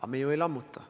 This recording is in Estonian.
Aga me ju ei lammuta.